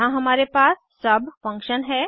यहाँ हमारे पास सुब फंक्शन है